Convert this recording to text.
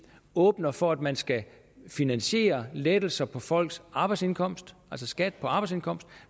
åbner for at man skal finansiere lettelser på folks arbejdsindkomst altså skat på arbejdsindkomst